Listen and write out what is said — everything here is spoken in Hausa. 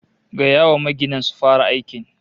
Gaya wa maginan su fara aikin